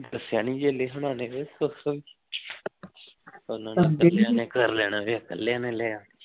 ਦਸਿਆ ਨਹੀਂ ਜੇ ਲਿਖਣ ਵਾਲੇ ਨੇ ਕਰ ਲੈਣਾ ਐ ਕੱਲੀਆਂ ਨੇ ਲਿਆ